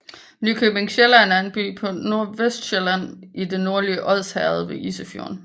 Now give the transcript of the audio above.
Nykøbing Sjælland er en by på Nordvestsjælland i det nordlige Odsherred ved Isefjorden